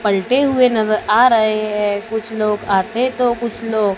पलटे हुए नजर आ रहे हैं कुछ लोग आते तो कुछ लोग--